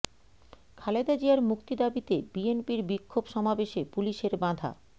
খালেদা জিয়ার মুক্তি দাবিতে বিএনপির বিক্ষোভ সমাবেশে পুলিশের বাধা